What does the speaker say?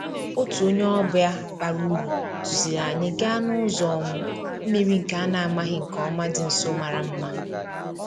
Otu onye ọbịa bara uru duziri anyị gaa n'ụzọ um mmiri nke a na-amaghị nke ọma dị nso mara mma